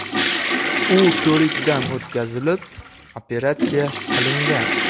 U ko‘rikdan o‘tkazilib, operatsiya qilingan.